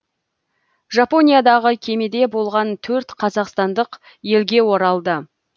жапониядағы кемеде болған төрт қазақстандық елге оралды